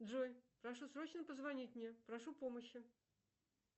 джой прошу срочно позвонить мне прошу помощи